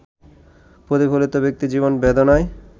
প্রতিফলিত ব্যক্তিজীবন বেদনায়